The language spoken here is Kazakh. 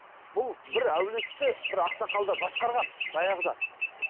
бұл бір әулетті бір ақсақалдар басқарған баяғыда